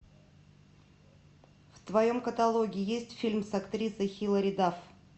в твоем каталоге есть фильм с актрисой хилари дафф